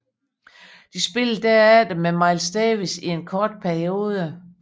Spillede herefter med Miles Davis i en kort periode